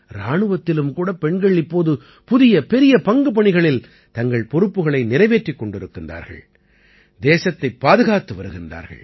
இராணுவத்திலும் கூட பெண்கள் இப்போது புதிய பெரிய பங்குபணிகளில் தங்கள் பொறுப்புக்களை நிறைவேற்றிக் கொண்டிருக்கின்றார்கள் தேசத்தைப் பாதுகாத்து வருகின்றார்கள்